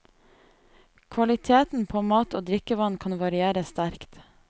Kvaliteten på mat og drikkevann kan variere sterkt.